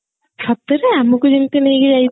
ସତରେ ଆମକୁ ଯେମତି ନେଇକି ଯାଇଥିଲେ